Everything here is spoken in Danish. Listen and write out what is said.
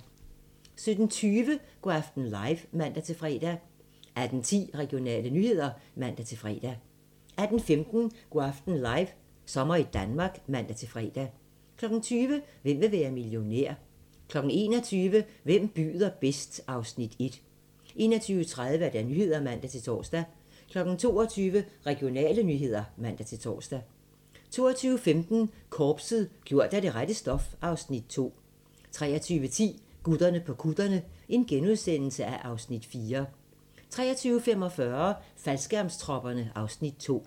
17:20: Go' aften live (man-fre) 18:10: Regionale nyheder (man-fre) 18:15: Go' aften live - sommer i Danmark (man-fre) 20:00: Hvem vil være millionær? 21:00: Hvem byder bedst? (Afs. 1) 21:30: Nyhederne (man-tor) 22:00: Regionale nyheder (man-tor) 22:15: Korpset - gjort af det rette stof (Afs. 2) 23:10: Gutterne på kutterne (Afs. 4)* 23:45: Faldskærmstropperne (Afs. 2)